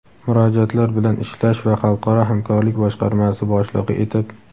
murojaatlar bilan ishlash va xalqaro hamkorlik boshqarmasi boshlig‘i etib;.